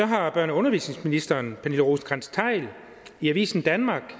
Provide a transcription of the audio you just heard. har børne og undervisningsministeren i avisen danmark